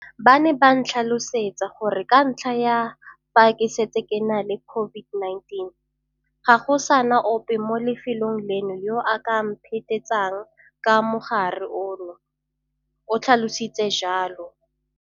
Ba ne ba ntlhalosetsa gore ka ntlha ya fa ke setse ke na le COVID-19, ga go sa na ope mo lefelong leno yo a ka mphetetsang ka mogare ono, o tlhalositse jalo.